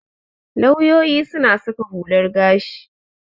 Lauyoyi suna saka hular gashi.